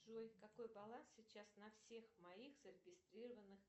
джой какой баланс сейчас на всех моих зарегистрированных